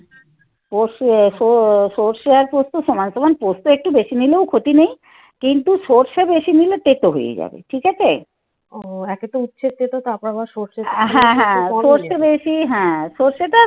সর্ষে পোস্ত সমান সমান পোস্ত একটু বেশি নিলেও ক্ষতি নেই. কিন্তু সর্ষে বেশি নিলে তেতো হয়ে যাবে. ঠিক আছে